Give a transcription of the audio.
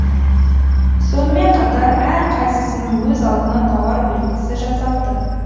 сонымен қатар әр қайсысының өз алдына тауар белгісі жасалды